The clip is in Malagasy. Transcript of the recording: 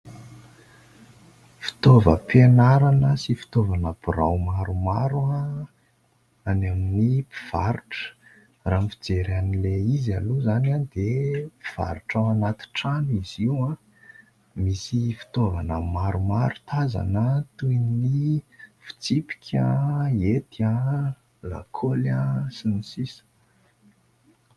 Fitaovam-pianarana sy fitaovana birao maromaro any amin'ny mpivarotra. Raha ny fijery an'ilay izy aloha izany dia mpivarotra ao anaty trano izy io misy fitaovana maromaro tazana toy ny fitsipika, hety, lakôly, sy ny sisa.